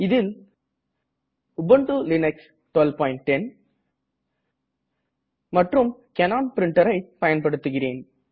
இதில் Ubuntu Linux 1210 மற்றும் Canon printerஐ பயன்படுத்துகிறேன்